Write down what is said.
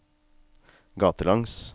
gatelangs